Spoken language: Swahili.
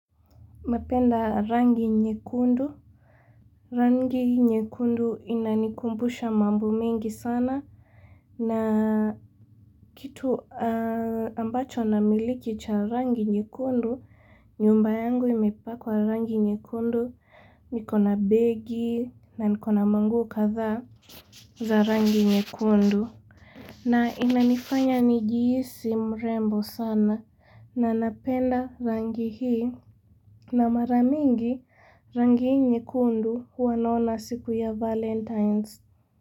Napenda rangi nyekundu Rangi nyekundu inanikumbusha mambo mengi sana na kitu ambacho namiliki cha rangi nyekundu nyumba yangu imepakwa rangi nyekundu niko na begi na niko na manguo kadhaa za rangi nyekundu na inanifanya nijihisi mrembo sana na napenda rangi hii na mara mingi rangi hii nyekundu huwa naona siku ya valentines.